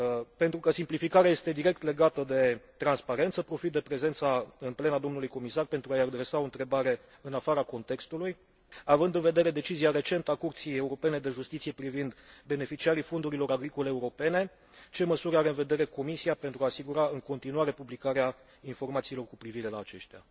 Pentru că simplificarea este direct legată de transparență, profit de prezența în plen a domnului comisar pentru a i adresa o întrebare în afara contextului având în vedere decizia recentă a Curții Europene de Justiție privind beneficiarii fondurilor agricole europene, ce măsuri are în vedere Comisia pentru a asigura în continuare publicarea informațiilor cu privire la aceștia?